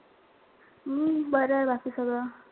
हम्म बरंय बाकी सगळं.